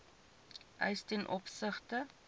eis ten opsigte